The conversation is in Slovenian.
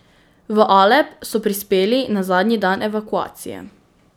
V Alep so prispeli na zadnji dan evakuacije.